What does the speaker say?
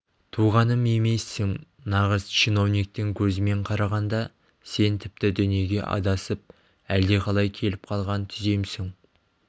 туғаным емессің нағыз чиновниктің көзімен қарағанда сен тіпті дүниеге адасып әлдеқалай келіп қалған түземсің